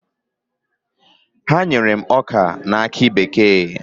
Ha nyere m ọka na akị bekee.